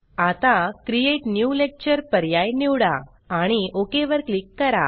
आता create new lecture पर्याय निवडा आणि ओक वर क्लिक करा